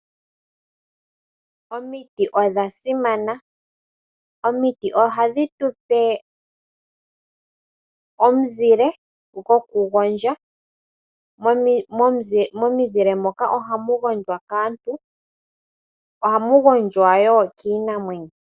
Omiti odhasimana . Omiti ohadhi tupe omuzile gwokugondja . Momizile moka ohamu gondjwa kaantu , ohamu gondjwa woo kiinamwenyo.